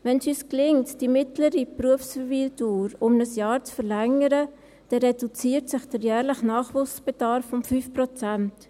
Wenn es uns gelingt, die mittlere Berufsverweildauer um ein Jahr zu verlängern, reduziert sich der jährliche Nachwuchsbedarf um 5 Prozent.